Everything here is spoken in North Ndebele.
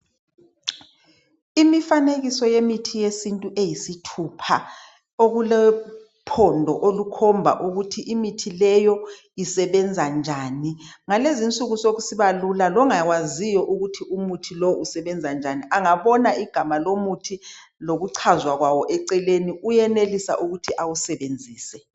Imifanekiso yemithi yesintu eyisithupha okulophondo olukhomba ukuthi imithi leyo usebenza njani , ngalezinsuku sokusiba lula longakwaziyo ukuthi umuthi lo usebenzanjani angabona igama lomuthi lokuchazwa kwawo eceleni uyenelisa ukuthi awusebenzise